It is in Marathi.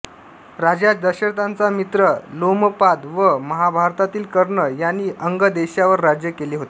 राजा दशरथाचा मित्र लोमपाद व महाभारतातील कर्ण यांनी अंग देशावर राज्य केले होते